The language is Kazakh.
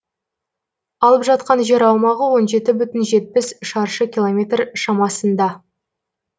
алып жатқан жер аумағы он жеті бүтін жетпіс шаршы километр шамасында